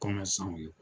ye